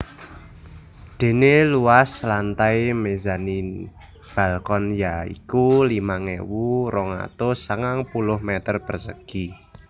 Dene luas lantai mezanin balkon ya iku limang ewu rong atus sangang puluh meter persegi